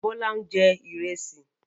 Bọ́lá ń jẹ Ìrẹ́sì